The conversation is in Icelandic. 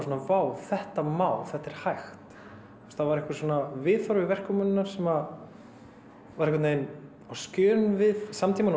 vá þetta má þetta er hægt það var viðhorf í verkum hennar sem var á skjön við samtímann